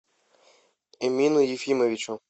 эмину ефимовичу